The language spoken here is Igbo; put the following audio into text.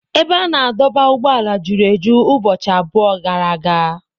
Ebe a na-adọba ụgbọala juru eju ụbọchị abụọ gara aga.